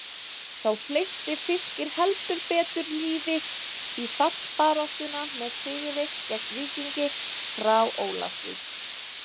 Þá hleypti Fylkir heldur betur lífi í fallbaráttuna með sigri gegn Víkingi frá Ólafsvík.